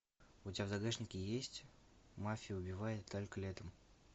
у тебя в загашнике есть мафия убивает только летом